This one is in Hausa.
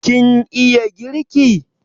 Kin iya girki?